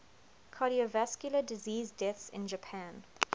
cardiovascular disease deaths in japan